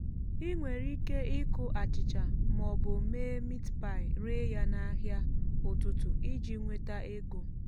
ị nwere ike ịkụ achịcha ma ọ bụ mee meat pie ree ya n’ahịa ụtụtụ iji nweta ego